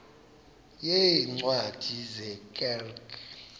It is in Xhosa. yeencwadi ye kerk